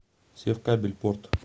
севкабель порт